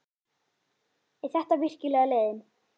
Er þetta virkilega leiðin?